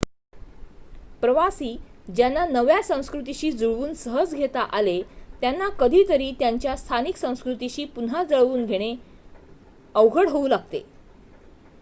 प्रवासी ज्यांना नव्या संस्कृतीशी जुळवून सहज घेता आले त्यांना कधी तरी त्यांच्या स्थानिक संस्कृतीशी पुन्हा जुळवून घेणे अवघड होऊ लागते